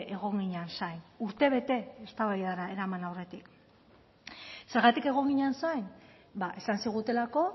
egon ginen zain urtebete eztabaidara eraman aurretik zergatik egon ginen zain esan zigutelako